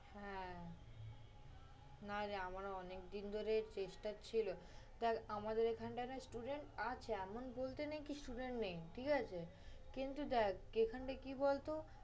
হ্যাঁ, নারে আমার অনেকদিনই ধরে চেষ্টা ছিলো। দেখ আমাদের এখানটায় না student আছে এমন বলতে নেই কি student নেই, ঠিক আছে। কিন্তু দেখ, এখানে কি বলতো